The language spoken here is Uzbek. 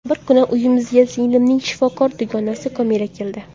Bir kuni uyimizga singlimning shifokor dugonasi Komila keldi.